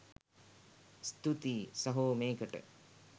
ස්තුතියි සහෝ මේකට